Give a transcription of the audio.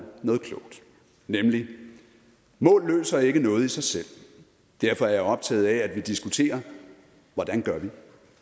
noget klogt nemlig mål løser ikke noget i sig selv derfor er jeg optaget af at vi diskuterer hvordan gør vi